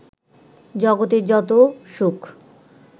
জগতের যত সুখ